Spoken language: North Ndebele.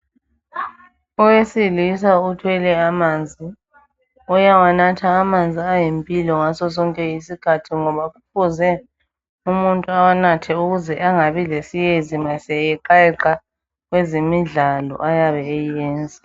Owesilisa uthwele amanzi uyawanatha amanzi ayimpilo ngaso sonke isikhathi ngoba kufuze umuntu awanathe ukuze angabi lesiyezi uma seyeqayeqa kwezemidlalo ayabe eyiyenza.